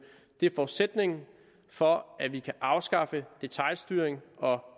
forudsætningen for at vi kan afskaffe detailstyring og